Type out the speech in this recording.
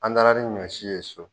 An taara ni ɲɔ si ye so.